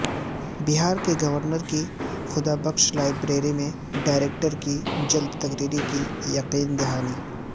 بہار کے گورنر کی خدا بخش لائبریری میں ڈائریکٹر کی جلد تقرری کی یقین دہانی